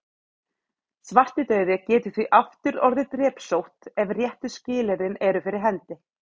Svartidauði getur því aftur orðið að drepsótt ef réttu skilyrðin eru fyrir hendi.